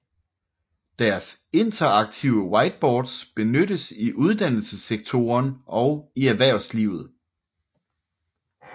Deres interaktive whiteboards benyttes i uddannelsessektoren og i erhvervslivet